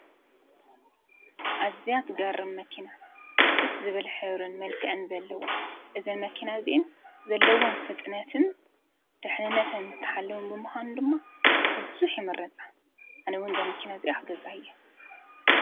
ኣዝያት ትገርም መኪና ደስ ዝበል ሕብሪን መልከዐን ዘለዋ! እዘን መኪና እዝኢን ዘለዎም ፍጥነትን ድሕንነትን ብዝተሓለዉን ብምዃኑ ድማ ብብዙኅ ይመረጻ ኣነውን ዛመኪና እዚኣ ኽገዛየ።